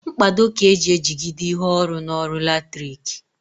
Mkpado ka eji ejigide ihe ọrụ n'ọrụ latriki